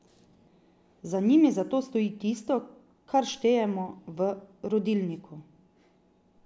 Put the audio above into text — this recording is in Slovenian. Za njimi zato stoji tisto, kar štejemo, v rodilniku.